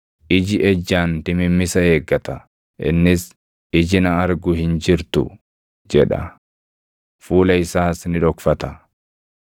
Iji ejjaan dimimmisa eeggata; innis, ‘Iji na argu hin jirtu’ jedha; fuula isaas ni dhokfata.